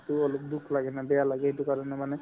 to অলপ দুখ লাগে না বেয়া লাগে সেইটো কাৰণে মানে